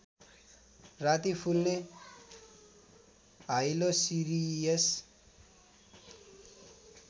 राति फुल्ने हाइलोसिरियस